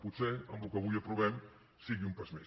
potser amb el que avui aprovem sigui un pas més